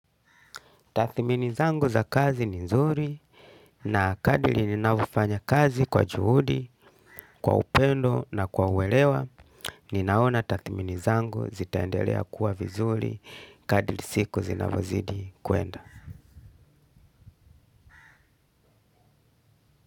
Tathimini zangu za kazi ni nzuri na kadri ninavofanya kazi kwa juhudi, kwa upendo na kwa uelewa. Ninaona tathiminizangu zitaendelea kuwa vizuri. Kadri siku zinavozidi kuenda.